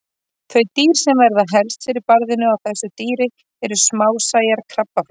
Þau dýr sem verða helst fyrir barðinu á þessu dýri eru smásæjar krabbaflær.